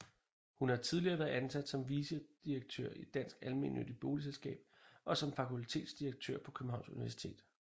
Hun har tidligere været ansat som vicedirektør i Dansk Almennyttigt Boligselskab og som fakultetsdirektør på Københavns Universitet